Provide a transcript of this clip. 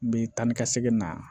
N bi taa ni ka segin na